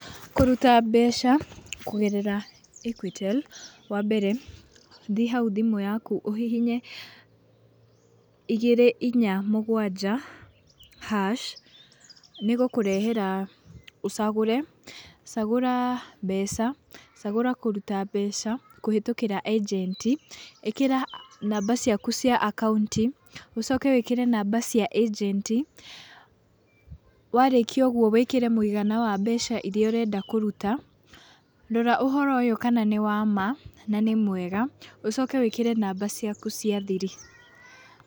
Kũruta mbeca kũgerera Equitel wambere thiĩ haũ thimũ yakũ ũhihinye igĩrĩ inya mũgwanja hash nĩgũkũrehera ũcagũre, cagũra mbeca, cagũra kũruta mbeca kũhĩtũkĩra ĩnjenti ikĩra namba ciaku cia account ũcoke wĩkĩre namba cia ĩnjenti, warĩkia ũgũo wĩkĩre mũigana wa mbeca iria ũrenda kũrũta. Rora ũhoro ũyũ kana nĩ wama na nĩ mwega ũcoke wĩkĩre namba ciaku cia thiri.